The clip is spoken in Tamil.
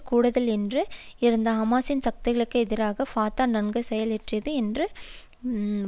கூடுதல் என்று இருந்த ஹமாசின் சக்திகளுக்கு எதிராக ஃபத்தா நன்கு செயலாற்றியது என்று வாதிட்டுள்ளனர்